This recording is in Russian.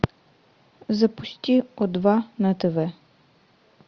запусти о два на тв